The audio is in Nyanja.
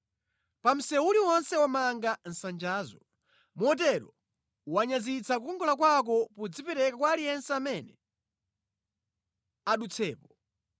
Pa msewu uliwonse wamanga nsanjazo. Motero wanyazitsa kukongola kwako podzipereka kwa aliyense amene adutsapo.